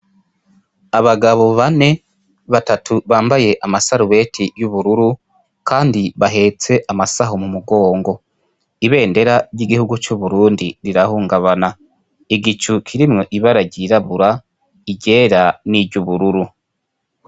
Abagabo bane, batatu bambaye amasarubeti y'ubururu, kandi bahetse amasaho mu mugongo. Ibendera ry'igihugu c'Uburundi rirahungabana. Igicu kirimwo ibara ryirabura, iryera n'iryubururu.